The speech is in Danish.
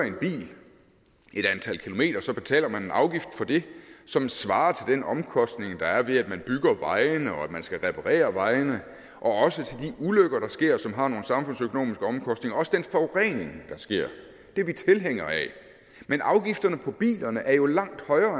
et antal kilometer så betaler en afgift for det som svarer til den omkostning der er ved at man bygger vejene og at man skal reparere vejene og også til de ulykker der sker og som har nogle samfundsøkonomiske omkostninger og også den forurening der sker det er vi tilhængere af men afgifterne på bilerne er jo langt højere